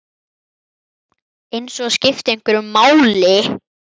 Eins og það skipti einhverju máli!